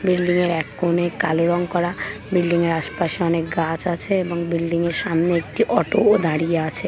Building এর এক কোণে কালো রং করা বিল্ডিং এর আশপাশে অনেক গাছ আছে এবং বিল্ডিং এর সামনে একটি অটো ও দাঁড়িয়ে আছে ।